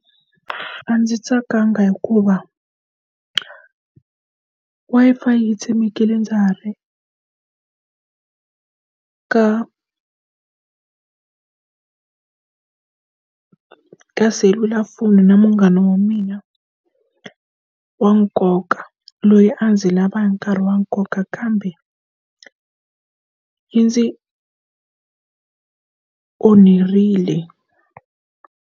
A ndzi tsakanga hikuva Wi-Fi yi tshemekile ndza ha ri ka ka selulafoni na munghana wa mina wa nkoka loyi a ndzi lava nkarhi wa nkoka kambe yi ndzi onherile.